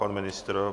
Pan ministr?